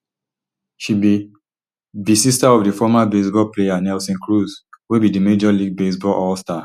she be be sister of di former baseball player nelson cruz wey be di major league baseball allstar